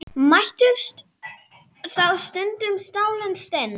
Mættust þá stundum stálin stinn.